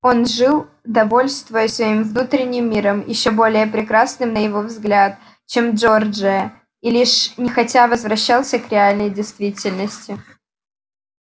он жил довольствуясь своим внутренним миром ещё более прекрасным на его взгляд чем джорджия и лишь нехотя возвращался к реальной действительности